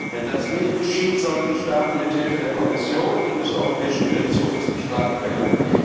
Wenn das nicht geschieht, sollen die Staaten mit Hilfe der Kommission und des Europäischen Gerichtshofs bestraft werden.